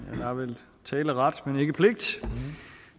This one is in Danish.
har vel taleret